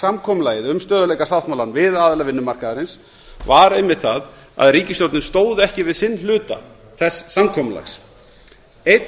samkomulagið um stöðugleikasáttmálann við aðila vinnumarkaðarins sprakk var einmitt sú að ríkisstjórnin stóð ekki við sinn hluta þess samkomulags einn